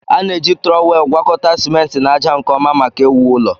A na-eji trọwel gwakọta simenti na ájá nke ọma maka iwu ụlọ